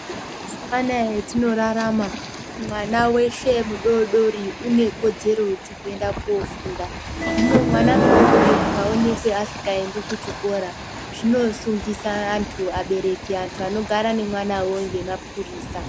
Ana mazuwa anaya atinorarama mwana weshe mudodori unoe kodzero dzekuenda kofunda hino mwana mudodori akaonekwa asingaendi kuchikora zvinosungisa antu abereki antu anogara nemwanawo ngemapurisa.